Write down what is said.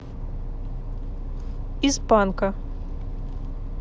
из панка